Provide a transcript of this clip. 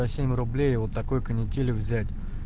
по семь рублей и вот такой канителью взять